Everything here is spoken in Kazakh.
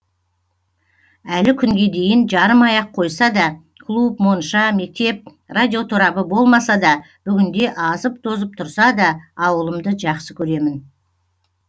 әлі күнге дейін жарымай ақ қойса да клуб монша мектеп радиоторабы болмаса да бүгінде азып тозып тұрса да ауылымды жақсы көремін